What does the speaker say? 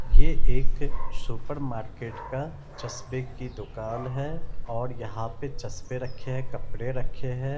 ये एक supermarket का चश्मे की दुकान है और यहां पे चश्मे रखें है कपड़े रखे हैं।